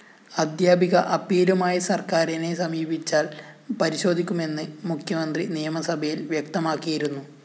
അധ്യാപിക അപ്പീലുമായി സര്‍ക്കാരിനെ സമീപിച്ചാല്‍ പരിശോധിക്കുമെന്ന് മുഖ്യമന്ത്രി നിയമസഭയില്‍ വ്യക്തമാക്കിയിരുന്നു